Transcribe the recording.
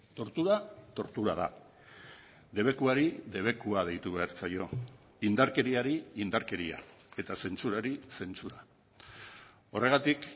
tortura tortura da debekuari debekua deitu behar zaio indarkeriari indarkeria eta zentsurari zentsura horregatik